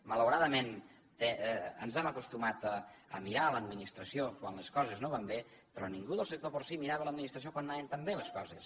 malauradament ens hem acostumat a mirar a l’administració quan les coses no van bé però ningú del sector porcí mirava l’administració quan anaven tan bé les coses